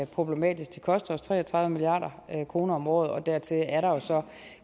er problematisk det koster os tre og tredive milliard kroner om året og dertil er der jo så